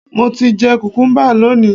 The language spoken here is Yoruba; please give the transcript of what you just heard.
Mo ti jẹ kùkúḿbà lónìí